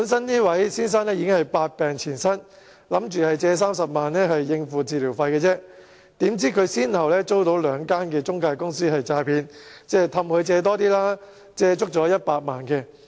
這位先生本身百病纏身，打算借貸30萬元應付治療費，豈料他先後遭兩間中介公司詐騙，哄他借貸更多錢，借了100萬元。